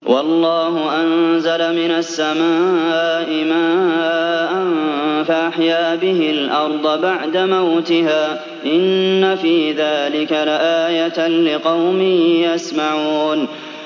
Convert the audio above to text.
وَاللَّهُ أَنزَلَ مِنَ السَّمَاءِ مَاءً فَأَحْيَا بِهِ الْأَرْضَ بَعْدَ مَوْتِهَا ۚ إِنَّ فِي ذَٰلِكَ لَآيَةً لِّقَوْمٍ يَسْمَعُونَ